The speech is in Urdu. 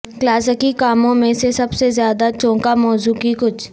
کلاسیکی کاموں میں سے سب سے زیادہ چونکا موضوع کی کچھ